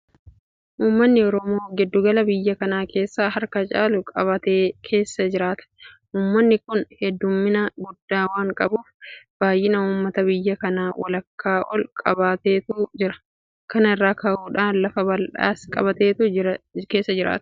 Uummanni Oromoo giddu gala biyya kanaa keessa harka caalu qabatee keessa jiraata. Uummanni kun heddummina guddaa waan qabuuf baay'ina uummata biyya kanaa walakkaa ol qabateetu jira. Kana irraa ka'uudhaan lafa bal'aas qabateetu keessa jiraata.